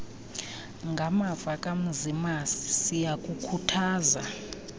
ngamava kamzimasi siyakukhuthaza